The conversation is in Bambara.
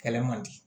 Kɛlɛ man di